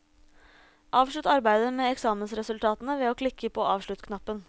Avslutt arbeidet med eksamensresultatene ved å klikke på avsluttknappen.